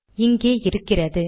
இங்கே இருக்கிறது